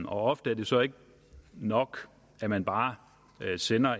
ofte er det så ikke nok at man bare sender